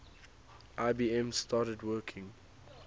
ibm started working